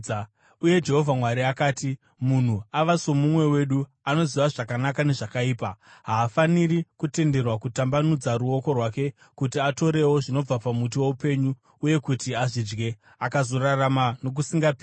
Uye Jehovha Mwari akati, “Munhu ava somumwe wedu, anoziva zvakanaka nezvakaipa. Haafaniri kutenderwa kutambanudza ruoko rwake kuti atorewo zvinobva pamuti woupenyu uye kuti azvidye, akazorarama nokusingaperi.”